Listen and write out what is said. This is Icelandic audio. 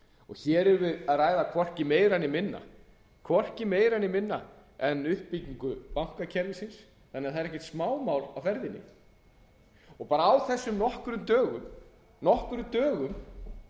hér erum við að ræða hvorki meira né minna en uppbyggingu bankakerfisins þannig að það er ekkert smámál á ferðinni og á þessum nokkrum dögum